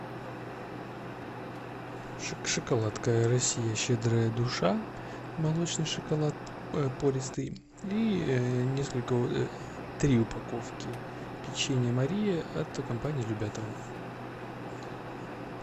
шоколадка россия щедрая душа молочный шоколад пористый и несколько три упаковки печенья мария от компании любятово